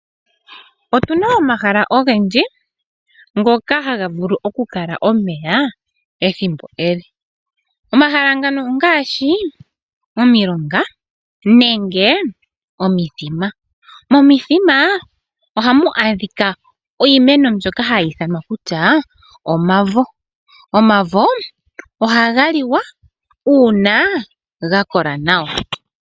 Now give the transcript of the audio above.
Otu na omahala ogendji ngoka haga vulu okukala omeya ethimbo ele. Omahala ngano ongaashi: omilonga nenge omithima. Momithima ohamu adhika iimeno mbyoka hayi ithanwa kutya omavo. Omavo ohaga liwa uuna ga kola nawa.